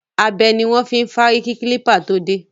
Abẹ ni wọn fi ń fárí kí kílípà tó dé